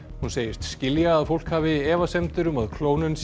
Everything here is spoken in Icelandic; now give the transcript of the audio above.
hún segist skilja að fólk hafi efasemdir um að klónun